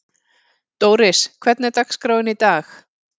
Dóris, hvernig er dagskráin í dag?